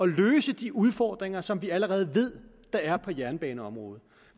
løse de udfordringer som vi allerede ved der er på jernbaneområdet